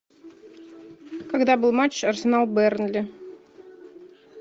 когда был матч арсенал бернли